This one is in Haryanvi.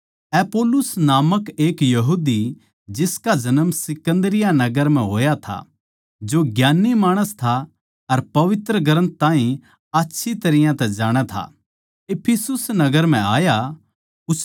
अपुल्लोस नामक एक यहूदी जिसका जन्म सिकन्दरिया नगर म्ह होया था जो ज्ञान्नी माणस था अर पवित्र ग्रन्थ ताहीं आच्छी तरियां तै जाणै था इफिसुस नगर म्ह आया